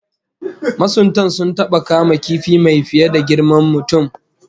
Masuntan sun taba kama kifi mai fiye da girman mutum